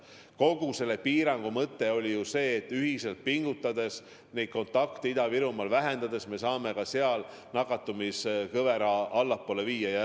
Kogu selle piirangu mõte on ju see, et ühiselt pingutades kontakte Ida-Virumaal vähendades me saame seal nakatumiskõvera allapoole viia.